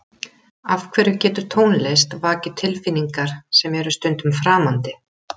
Af hverju getur tónlist vakið tilfinningar sem eru stundum framandi?